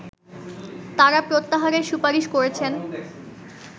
তারা প্রত্যাহারের সুপারিশ করেছেন